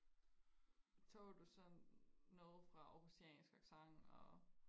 tog du så noget fra aarhusiansk accent og